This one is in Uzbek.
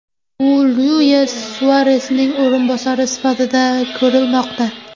U Luis Suaresning o‘rinbosari sifatida ko‘rilmoqda.